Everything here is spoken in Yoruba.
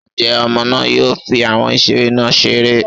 njẹ ọmọ náà yoo fí awọn ìseré nah ṣeré.